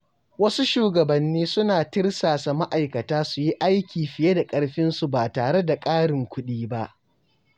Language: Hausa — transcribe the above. Wasu shugabanni suna tirsasa ma’aikata su yi aiki fiye da ƙarfinsu ba tare da ƙarin kuɗi ba.